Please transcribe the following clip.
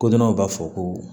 Kodɔnnaw b'a fɔ ko